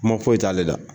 Kuma foyi t'ale la